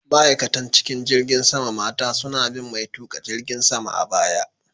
Ma'aikatan cikin jirgin sama mata suna bin mai tuƙa jirgin sama a baya.